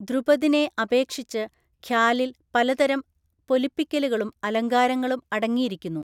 ധ്രുപദിനെ അപേക്ഷിച്ച് ഖ്യാലിൽ പലതരം പൊലിപ്പിക്കലുകളും അലങ്കാരങ്ങളും അടങ്ങിയിരിക്കുന്നു.